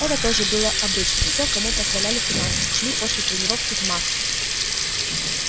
это тоже было обычно всё кому позволяли финансы шли после тренировки в мак